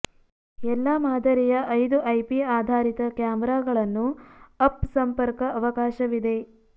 ಎಲ್ಲಾ ಮಾದರಿಯ ಐದು ಐಪಿ ಆಧಾರಿತ ಕ್ಯಾಮೆರಾಗಳನ್ನು ಅಪ್ ಸಂಪರ್ಕ ಅವಕಾಶ ಇದೆ